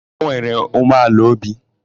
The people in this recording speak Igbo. O nwere umeala n'obi?